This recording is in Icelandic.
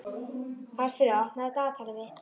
Alfreð, opnaðu dagatalið mitt.